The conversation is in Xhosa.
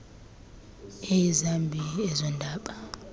eyi zambi ezondaba